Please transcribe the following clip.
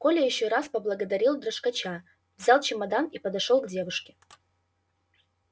коля ещё раз поблагодарил дрожкача взял чемодан и подошёл к девушке